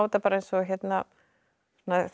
eins og þegar